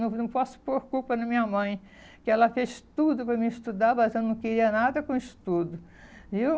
Não não posso pôr culpa na minha mãe, que ela fez tudo para me estudar, mas eu não queria nada com estudo, viu?